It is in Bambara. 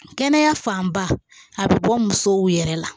Kɛnɛya fanba a bɛ bɔ musow yɛrɛ la